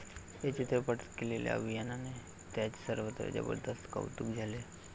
या चित्रपटात केलेल्या अभिनयाने त्याचं सर्वत्र जबरदस्त कौतुक झाले.